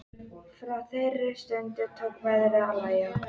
Frá þeirri stundu tók veðrið að lægja.